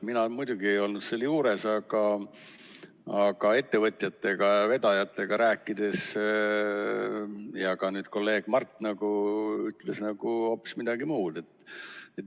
Mina muidugi ei olnud seal juures, aga ettevõtjatega ja vedajatega rääkides, nagu ka kolleeg Mart ütles, oli mulje hoopis muu.